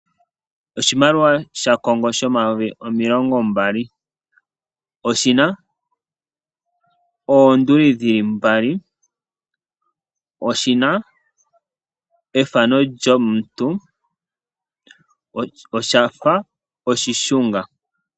Oshimaliwa shaCongo shomayovi omilongo mbali, oshina oonduli dhili mbali, oshina ethano lyomuntu oshafa oshishunga.